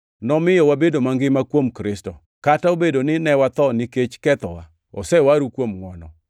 nomiyo wabedo mangima kuom Kristo, kata obedo ni ne watho nikech kethowa, osewaru kuom ngʼwono.